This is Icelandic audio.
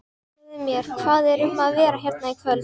Segðu mér, hvað er um að vera hérna í kvöld?